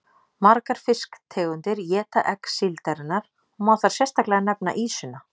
Margar fisktegundir éta egg síldarinnar og má þar sérstaklega nefna ýsuna.